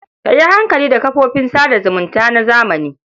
Ka yi hankali da kafofin sa da zumunta na zamani.